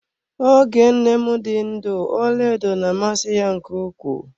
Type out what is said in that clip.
Oge nne m dị ndụ ọlaedo na amasị ya nke ukwuu.